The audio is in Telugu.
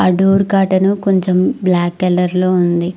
డోర్ కాటను కొంచెం బ్లాక్ కలర్లో ఉంది.